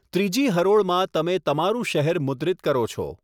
ત્રીજી હરોળમાં તમે તમારું શહેર મુદ્રિત કરો છો.